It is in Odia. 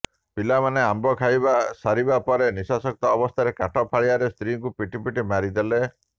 ପିଲାମାନେ ଆମ୍ବ ଖାଇବା ସାରିବା ପରେ ନିଶାସକ୍ତ ଅବସ୍ଥାରେ କାଠ ଫାଳିଆରେ ସ୍ତ୍ରୀଙ୍କୁ ପିଟି ପିଟି ମାରି ଦେଲେ